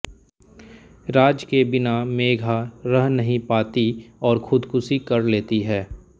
राज के बिना मेघा रह नहीं पाती और ख़ुदकुशी कर लेती है